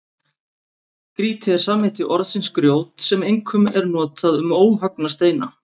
Grýti er samheiti orðsins grjót sem einkum er notað um óhöggna steina.